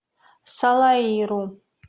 салаиру